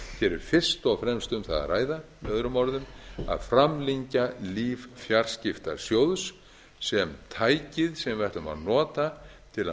er fyrst og fremst um það að ræða möo að framlengja líf fjarskiptasjóðs sem tækis sem við ætlum að nota til að